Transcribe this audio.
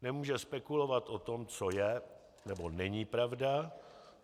Nemůže spekulovat o tom, co je, nebo není pravda.